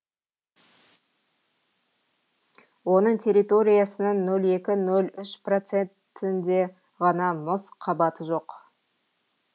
оның территориясының нөл екі нөл үш процентінде ғана мұз қабаты жоқ